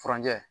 Furanjɛ